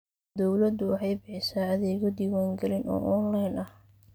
Dawladdu waxay bixisaa adeegyo diwaangelin oo onlayn ah.